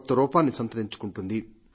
కొత్త రూపాన్ని సంతరించుకుంటుంది